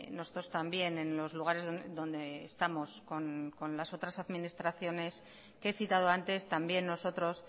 nosotros también en los lugares donde estamos con las otras administraciones que he citado antes también nosotros